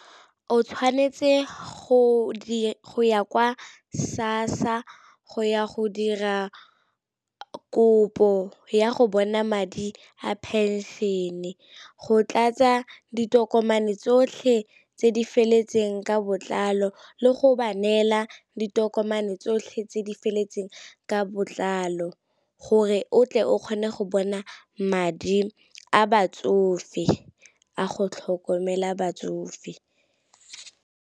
O tshwanetse go ya kwa SASSA go ya go dira kopo ya go bona madi a pension-e, go tlatsa ditokomane tsotlhe tse di feletseng ka botlalo le go ba neela ditokomane tsotlhe tse di feletseng ka botlalo, gore o tle o kgone go bona madi a batsofe a go tlhokomela batsofe.